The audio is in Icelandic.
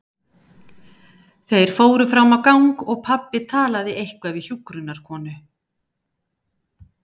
Þeir fóru fram á gang og pabbi talaði eitthvað við hjúkrunarkonu.